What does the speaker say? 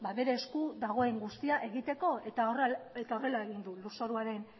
bere esku dagoen guztia egiteko eta horrela egin du lurzoruaren